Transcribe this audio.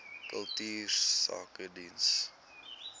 kultuursakedienste